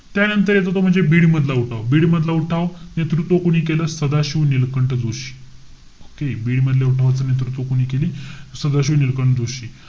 त्यानंतर येतो तो म्हणजे बीड मधला उठाव. बीड मधला उठाव, नेतृत्व कोणी केला? सदाशिव नीलकंठ जोशी. okay? बीड मधला उठावाच नेतृत्व कोणी केली? सदाशिव नीलकंठ जोशी.